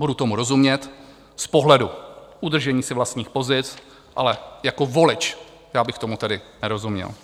Budu tomu rozumět z pohledu udržení si vlastních pozic, ale jako volič já bych tomu tedy nerozuměl.